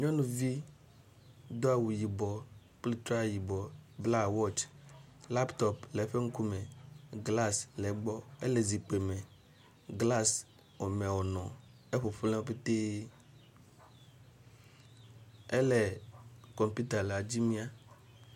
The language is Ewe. Nyɔnuvi dó awu yibɔ kpli tra yibɔ bla wɔts laptop le eƒe ŋkume glas le egbɔ ele zikpi me glas xɔme wonɔ efofolapɛtɛ ele kɔmpita la dzi mia